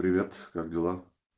привет как дела